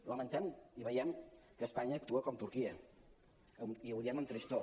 lamentem i veiem que espanya actua com turquia i ho diem amb tristor